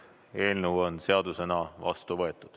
Eelnõu on seadusena vastu võetud.